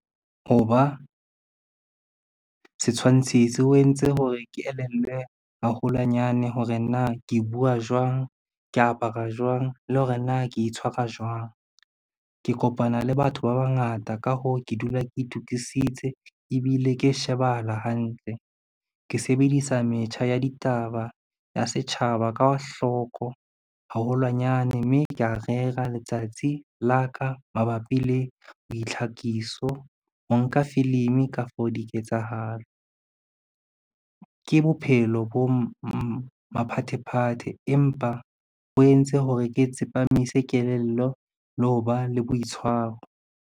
Ho ba setshwantshisi, ho entse hore ke elellwe haholwanyane hore na ke bua jwang, ke apara jwang le hore na ke itshwara jwang. Ke kopana le batho ba bangata ka hoo, ke dula ke itokisitse ebile ke shebahala hantle. Ke sebedisa metjha ya ditaba ya setjhaba ka hloko haholwanyane, mme kea rera letsatsi la ka mabapi le boitlhakiso, ho nka filimi kafo diketsahalo. Ke bophelo bo maphathephathe, empa bo entse hore ke tsepamise kelello le ho ba le boitshwaro.